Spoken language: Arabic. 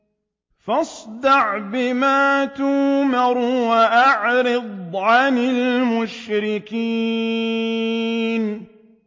فَاصْدَعْ بِمَا تُؤْمَرُ وَأَعْرِضْ عَنِ الْمُشْرِكِينَ